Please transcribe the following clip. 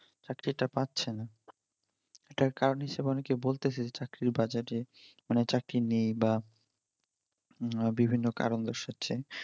চাকরি তা পাচ্ছেনা। এটার কারন হিসেবে অনেকে বলতে চাই যে চাকরির বাজারে চাকরি নেই বা বিভিন্ন কারণ দর্শাচ্ছে